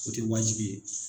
O tɛ wajibi ye